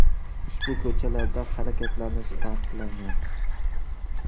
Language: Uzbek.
Ushbu ko‘chalarda harakatlanish taqiqlangan.